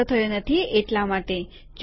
આનો સંગ્રહ થયો નથી એટલા માટે જ